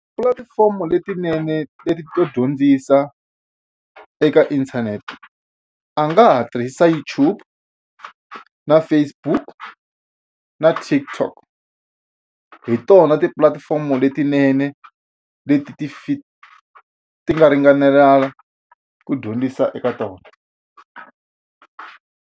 Tipulatifomo letinene to dyondzisa eka inthanete a nga ha tirhisa YouTube na Facebook na TikTokhi tona tipulatifomo letinene leti ti ti nga ringanelanga ku dyondzisa eka tona.